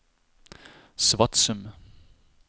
Svatsum